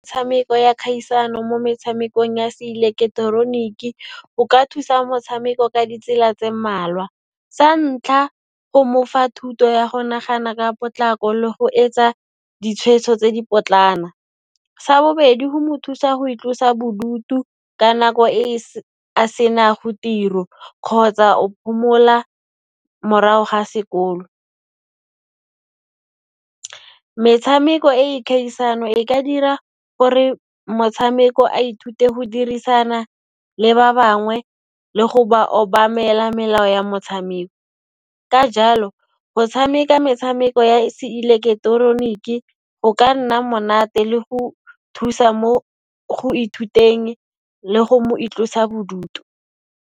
Tshameko ya kgaisano mo metshamekong ya se ileketeroniki, go ka thusa motshameko ka ditsela tse mmalwa. Sa ntlha, go mofa thuto ya go nagana ka potlako le go etsa ditshweetso tse di potlana. Sa bobedi, go mo thusa go itlosa bodutu ka nako e a senago tiro kgotsa o phomola morago ga sekolo. Metshameko e e khaisano, e ka dira gore motshameko a ithute go dirisana le ba bangwe le go ba obamela melao ya motshameko. Ka jalo, go tshameka metshameko ya se ileketeroniki go ka nna monate le go thusa mo go ithuteng le go itlosa bodutu.